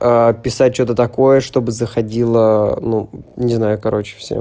писать что-то такое чтобы заходила ну не знаю короче всё